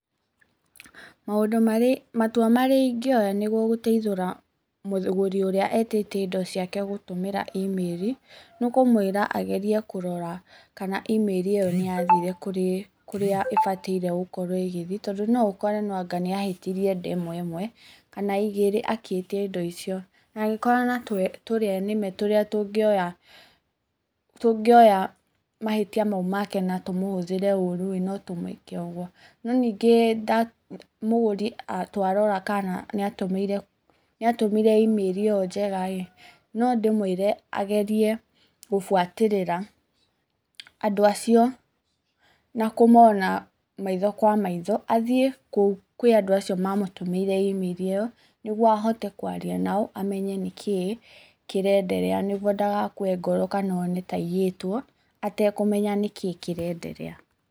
Maũndũ marĩa matua marĩa ingĩoya nĩguo gũteithũra, mũgũri ũrĩa etĩtie indo ciake gũtũmĩra email nĩ ũkũmwĩra agerie kũrora kana email ĩyo nĩ yathire kũrĩa ĩbataire gũkorwo ĩgĩthiĩ, tondũ no ũkore nĩ anga nĩ ahĩtirie ndemwa ĩmwe kana igĩrĩ agĩĩtia indo icio, na angĩkorana na tũrĩa nĩme tũrĩa tũngĩoya tũngĩoya mahĩtia mau make na tũhũthĩre ũru no tũmwĩke ũguo. No ningĩ mũgũri twarora kana nĩ atũmire email ĩyo njega rĩ, no ndĩmwĩre agerie gũbuatĩrĩra andũ acio na kũmona maitho kwa maitho, athiĩ kũu kwa andũ acio ma mũtũmĩire email ĩyo, nĩguo ahote kũarĩa nao mamenye nĩ kĩĩ kĩrenderea nĩguo ndagakue ngoro kana one taiyĩtwo atekũmenya nĩkĩĩ kĩrenderea